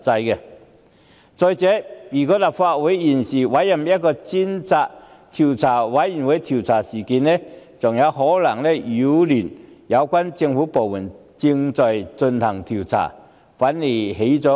如果立法會現時委任專責委員會調查事件，更可能擾亂相關政府部門正在進行的調查，反而適得其反。